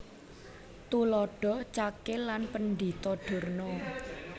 Tuladha Cakil lan Pendhita Durna